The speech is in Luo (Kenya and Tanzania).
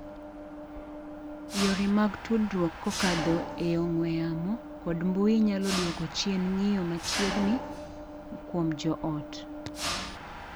Yore mag tudruok kokadho e ong'we yamo kod mbuyi nyalo duoko chien ng'iyo machiegni kuom joot.